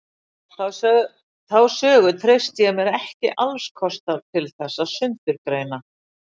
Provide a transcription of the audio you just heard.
Þá sögu treysti ég mér ekki alls kostar til þess að sundurgreina.